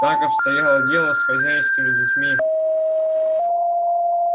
так обстояло дело с хозяйскими детьми